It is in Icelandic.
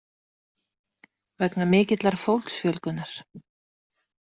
Vegna mikillar fólksfjölgunar.